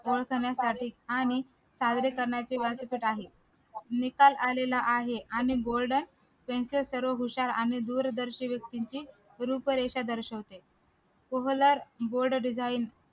आणि करण्याचे दिसत आहेत निकाल आलेला आहे आणि त्यांचे सर्व हुशार आणि दूरदर्शी व्यक्तींची रूपरेषा दर्शवते